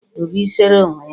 obi sere onwe ya